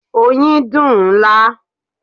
Oyin dùn-ún lá.